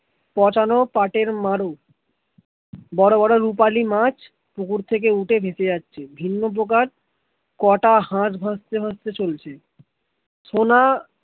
পচানো পাটের মারু বড় বড় রুপালী মাছ পুকুর থেকে উঠে ভেসে যাচ্ছে ভিন্ন পোকার কটা হাঁস ভাসতে ভাসতে চলছে